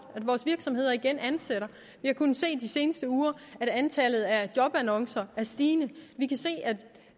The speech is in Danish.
at vores virksomheder igen ansætter vi har kunnet se i de seneste uger at antallet af jobannoncer er stigende vi kan se at